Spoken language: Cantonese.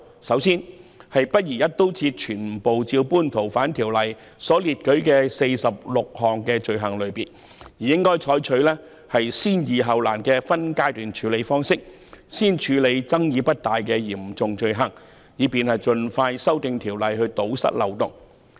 首先，不宜一刀切，全部照搬《逃犯條例》列舉的46項罪類，應採取"先易後難"的分階段處理方式，先處理爭議不大的嚴重罪行，以便盡快修訂法例來堵塞漏洞。